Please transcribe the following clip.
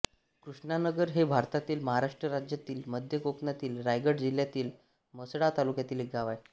कृष्णानगर हे भारतातील महाराष्ट्र राज्यातील मध्य कोकणातील रायगड जिल्ह्यातील म्हसळा तालुक्यातील एक गाव आहे